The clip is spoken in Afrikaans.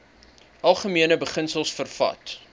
algemene beginsels vervat